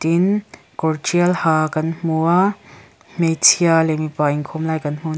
tin kawr ṭhial ha kan hmu a hmeichhia leh mipa inkhawm lai kan hmu a ni.